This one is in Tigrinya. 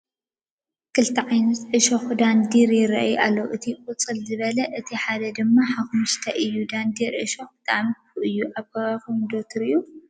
ክልተ ዓይነት ዕሾኽ ዳንዴር ይረአዩ ኣለው፡፡ እቲ ቁፅል ዝበለ፣ እቲ ሓደ ድማ ሓሞኹስታይ እዩ፡፡ ዳንዴር ዕሾኹ ብጣዕሚ ክፉእ እዩ፡፡ ኣብ ከባቢኹም ዶ ትሪኡ?